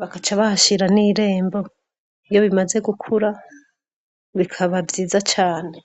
bakaca bahashira n' irembo iyo bimaze gukura bikaba vyiza cane.